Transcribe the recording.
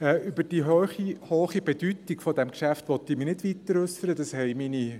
Über die hohe Bedeutung dieses Geschäfts will ich mich nicht weiter äussern;